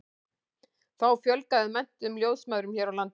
þá fjölgaði menntuðum ljósmæðrum hér á landi